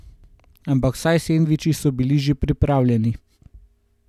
Ampak vsaj sendviči so bili že pripravljeni.